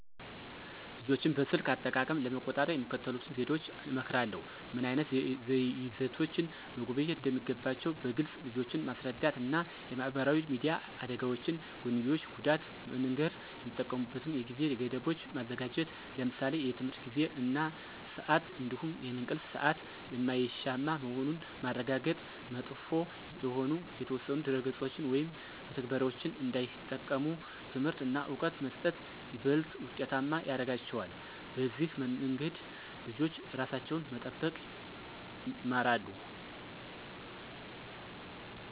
ልጆችን በስልክ አጠቃቀም ለመቆጣጠር የሚከተሉትን ዘዴዎች እመክራለሁ። ምን ዓይነት ይዘቶችን መጎብኘት እንደሚገባቸው በግልፅ ልጆችን ማስረዳት እና የማህበራዊ ሚዲያ አደጋዎች ጎንዮሽ ጉዳት መንገር። የሚጠቀሙበትን የጊዜ ገደቦች ማዘጋጀት ለምሳሌ የትምህርት ጊዜ እና ስአት እንዲሁም የእንቅልፍ ሰአት የማይሻማ መሆኑን ማረጋገጥ። መጥፎ የሆኑ የተወሰኑ ድረ-ገጾችን ወይም መተግበሪያዎችን እንዳይጠቀሙ ትምህርት እና እውቀት መስጠት ይበልጥ ውጤታማ ያረጋቸዋል። በዚህ መንገድ ልጆች ራሳቸውን መጠበቅ ይማራሉ።